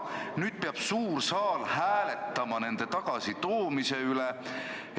Nüüd peab suur saal hääletama nende tagasitoomise üle.